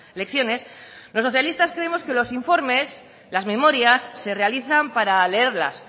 lecciones los socialistas creemos que los informes las memorias se realizan para leerlas